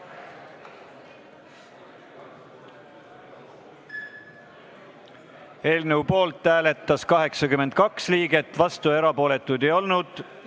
Hääletustulemused Eelnõu poolt hääletas 82 liiget, vastuolijaid ega erapooletuid ei olnud.